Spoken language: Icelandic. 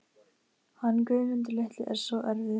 Hann Guðmundur litli er svo erfiður.